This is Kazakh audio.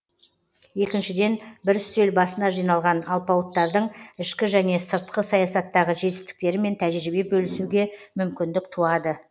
екіншіден бір үстел басына жиналған алпауыттардың ішкі және сыртқы саясаттағы жетістіктерімен тәжірибе бөлісуге мүмкіндік туады